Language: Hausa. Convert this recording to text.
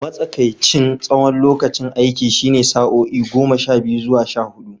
Matsakaicin tsawon lokacin aiki shine sa'o'i goma sha biyu zuwa sha hudu.